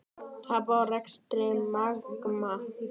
Tap á rekstri Magma